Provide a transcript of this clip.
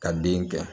Ka den kɛ